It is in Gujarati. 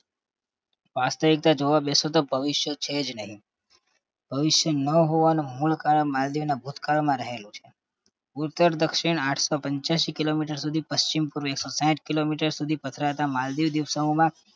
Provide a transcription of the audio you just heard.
વાસ્તવિકતા જોવા બેસો તો ભવિષ્ય છે જ નહીં ભવિષ્ય ન હોવાનું મૂલ કારણ માલદીવનાં ભૂતકાળમાં રહેલું છે ઉત્તર-દક્ષિણ આઠસો પંચ્યાસી kilometer સુધી પશ્ચિમ-પૂર્વે એકસો સાઈઠ kilometer સુધી પથરાતા માલદીવ દીવસઓમાં